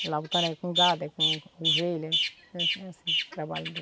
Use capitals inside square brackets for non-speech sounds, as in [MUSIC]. [UNINTELLIGIBLE] com gado, é com com ovelha, é assim o trabalho